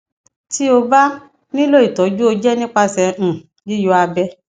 ti o ba nilo itọju o jẹ nipasẹ um yiyọ abẹ